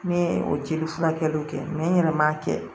Ne ye o jeli furakɛliw kɛ n yɛrɛ m'a kɛ